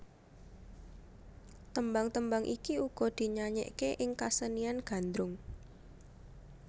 Tembang tembang iki uga dinyanyèkké ing kasenian Gandrung